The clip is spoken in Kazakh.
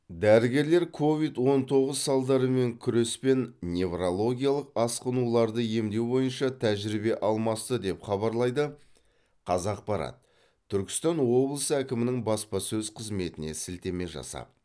дәрігерлер ковид он тоғыз салдарымен күрес пен неврологиялық асқынуларды емдеу бойынша тәжірибе алмасты деп хабарлайды қазақпарат түркістан облысы әкімінің баспасөз қызметіне ілтеме жасап